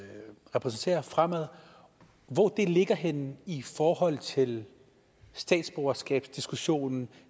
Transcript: repræsenterer fremad ligger henne i forhold til statsborgerskabsdiskussionen